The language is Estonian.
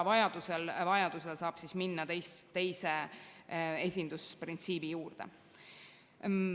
Vajaduse korral saab minna teise esindusprintsiibi juurde.